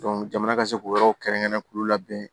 jamana ka se k'o yɔrɔw kɛrɛnkɛrɛn k'u labɛn